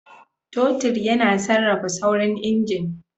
Totir yana sarrafa saurin injin.